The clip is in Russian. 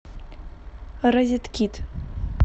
розеткит